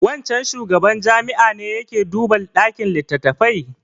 Wancan shugaban jami'a ne ya ke duba ɗakin littattafai?